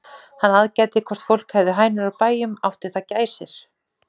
Hann aðgætti hvort fólk hefði hænur á bæjum, átti það gæsir?